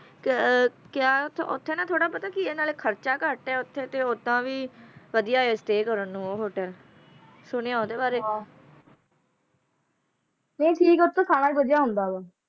ਅੱਖ ਦਾ ਫੜਕਣਾ ਕਿਹੜਾ ਖਾਤਾ ਘਾਟਾ ਖਾਧਾ ਹੈ ਪਰ ਇਹਦੇ ਤੁਰਨੋਂ ਹਟ ਰਹੇ ਹਨ